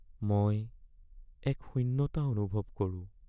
মই এক শূন্যতা অনুভৱ কৰোঁ